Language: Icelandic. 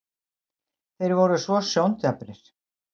þeir voru svo sjóndaprir.